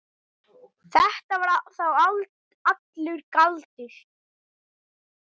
Þetta var þá allur galdur.